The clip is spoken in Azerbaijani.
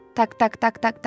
Tak-tak, tak-tak, tak.